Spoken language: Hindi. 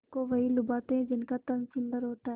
सबको वही लुभाते हैं जिनका तन सुंदर होता है